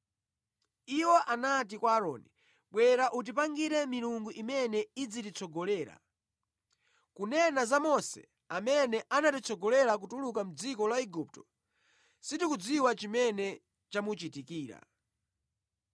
Iwo anati kwa Aaroni, ‘Bwera utipangire milungu imene idzititsogolera. Kunena za Mose amene anatitsogolera kutuluka mʼdziko la Igupto, sitikudziwa chimene chamuchitikira.